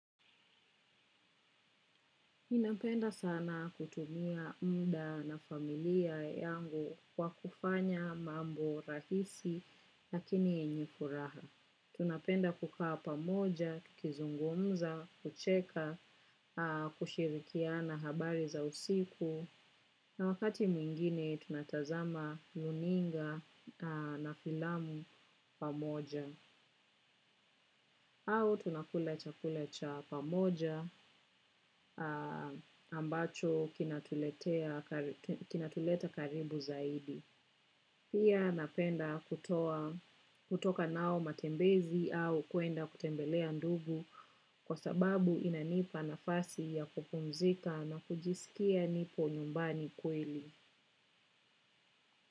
Ninapenda sana kutumia muda na familia yangu kwa kufanya mambo rahisi lakini ni kuraha. Napenda kukaa pamoja tukizungumza kucheka kushirikiana habari za usiku. Na wakati mwingine tunatazama runinga na filamu pamoja. Au tunakula chakula cha pamoja ambacho kinatuleta karibu zaidi. Pia napenda kutoka nao matembezi au kuenda kutembelea ndugu kwa sababu inanipa nafasi ya kupumzika na kujisikia nipo nyumbani kweli.